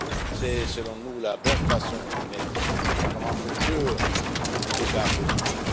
C'est, selon nous, une bonne façon de mettre le Parlement au cœur du débat politique.